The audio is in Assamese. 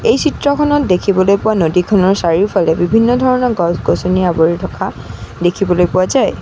এই চিত্ৰখনত দেখিবলৈ পোৱা নদীখনৰ চাৰিওফালে বিভিন্ন ধৰণৰ গছ-গছনিৰে আৱৰি থকা দেখিবলৈ পোৱা যায়।